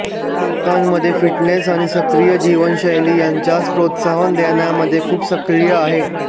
ती लोकांमध्ये फिटनेस आणि सक्रिय जीवनशैली यांच्यास प्रोत्साहन देण्यामध्ये खूप सक्रिय आहे